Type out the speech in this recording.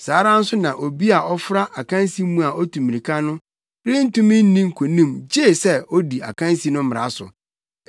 Saa ara nso na obi a ɔfra akansi mu a otu mmirika no rentumi nni nkonim gye sɛ odi akansi no mmara so.